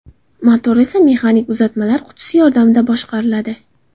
Motor esa mexanik uzatmalar qutisi yordamida boshqariladi.